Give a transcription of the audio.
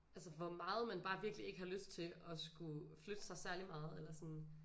Altså hvor meget man bare virkelig ikke har lyst til at skulle flytte sig særlig meget eller sådan